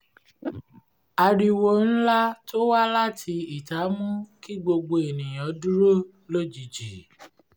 ariwo ńlá to wá láti ìta mú kí gbogbo ènìyàn dúró lójijì